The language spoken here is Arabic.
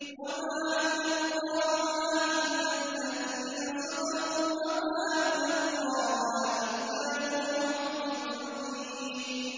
وَمَا يُلَقَّاهَا إِلَّا الَّذِينَ صَبَرُوا وَمَا يُلَقَّاهَا إِلَّا ذُو حَظٍّ عَظِيمٍ